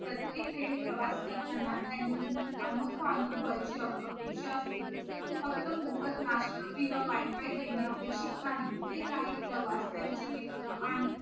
प्रत्येक वेळी प्रवास करताना त्यांनी अनोखा अनुभवायची अपेक्षा असते फक्त मोफत नाष्टा किंवा wifi देणे अपेक्षित नाही ते काही प्रवास त्यांचे मित्र आणि